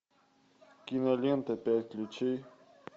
кинолента пять ключей